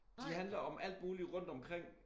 De handler om alt muligt rundtomkring